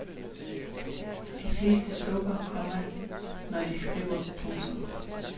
De fleste sukker, komma når de skriver. punktum